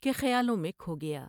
کے خیالوں میں کھو گیا ۔